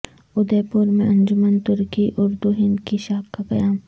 اودے پور میں انجمن ترقی اردو ہند کی شاخ کا قیام